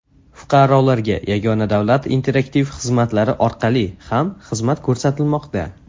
Fuqarolarga Yagona davlat interaktiv xizmatlari orqali ham xizmat ko‘rsatilmoqda.